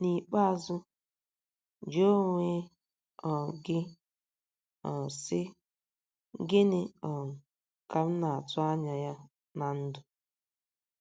N’ikpeazụ, jụọ onwe um gị um, sị: ‘ Gịnị um ka m na - atụ anya ya ná ndụ?